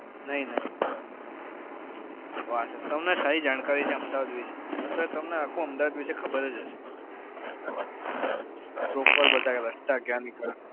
નહી નહી. તમને થઇ જાણકારી અમદાવાદ વિશે sir તમને આખું અમદાવાદ વિશે ખબર જ હશે તો ઉપર બતાયી એ